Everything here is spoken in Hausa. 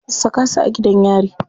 Saka su a gidan yari.